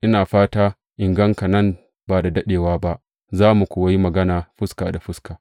Ina fata in gan ka nan ba da daɗewa ba, za mu kuwa yi magana fuska da fuska.